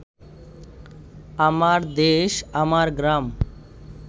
আমার দেশ আমার গ্রাম